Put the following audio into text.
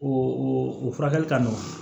O o furakɛli ka nɔgɔn